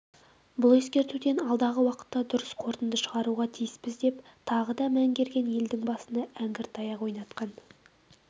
бұл ескертуден алдағы уақытта дұрыс қорытынды шығаруға тиіспіз деп тағы да мәңгерген елдің басына әңгір-таяқ ойнатқан